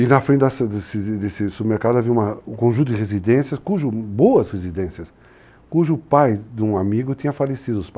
E na frente dessa, desse supermercado havia um conjunto de residências, cujo, boas residências, cujo pai de um amigo tinha falecido.